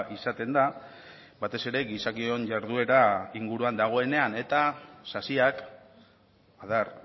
izaten da batez ere gizakion jarduera inguruan dagoenean eta sasiak adar